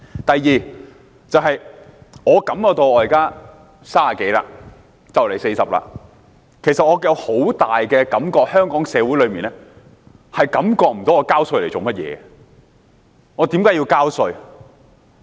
第二，我現在30多歲，快將40歲，其實我深深感覺到，香港社會上感覺不到為何要繳稅？